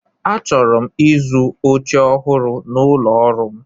Achọrọ m ịzụ oche ọhụrụ n'ụlọ ọrụ m.